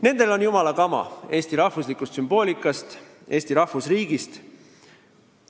Nendel on jumala kama eesti rahvuslikust sümboolikast ja Eesti rahvusriigist.